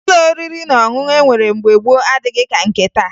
Ụlọ oriri na ọṅụṅụ e nwere mgbe gboo adịghị ka nke taa